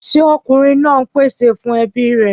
Ṣé ọkùnrin náà ń pèsè fún ebi rè?